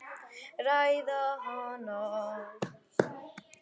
Ræða hana.